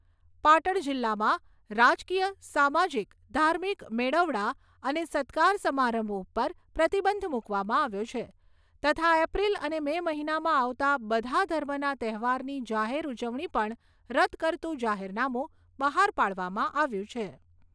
પાટણ જિલ્લામાં રાજકીય, સામાજિક, ધાર્મિક મેળાવડા અને સત્કાર સમારંભ ઉપર પ્રતિબંધ મૂકવામાં આવ્યો છે તથા એપ્રિલ અને મે મહિનામાં આવતા બધા ધર્મના તહેવારની જાહેર ઉજવણી પણ રદ કરતું જાહેરનામું બહાર પાડવામાં આવ્યું છે.